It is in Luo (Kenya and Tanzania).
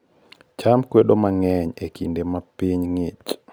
cham kwedo kideing mang'eny ee kinde ma piny ngich